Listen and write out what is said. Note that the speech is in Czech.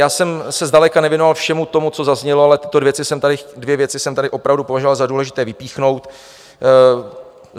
Já jsem se zdaleka nevěnoval všemu tomu, co zaznělo, ale tyto dvě věci jsem tady opravdu považoval za důležité vypíchnout.